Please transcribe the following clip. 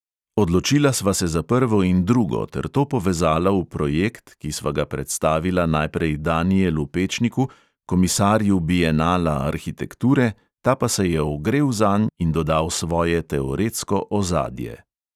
Odločila sva se za prvo in drugo ter to povezala v projekt, ki sva ga predstavila najprej danijelu pečniku, komisarju bienala arhitekture, ta pa se je ogrel zanj in dodal svoje teoretsko "ozadje".